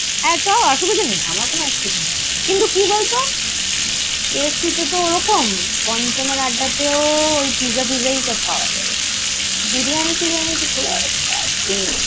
হ্যাঁ, চ অসুবিধা নেই আমার কোনো অসুবিধা নেই। কিন্তু কি বললো KFC তে ওরকম, পঞ্চমের আড্ডায় তেও ওই Pizza fizza ই সব পাওয়া যাবে। Biriyani ফিরিয়ানি তো ।